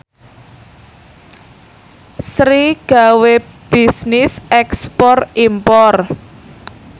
Sri gawe bisnis ekspor impor